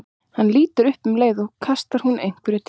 Hann lítur upp og um leið kastar hún einhverju til hans.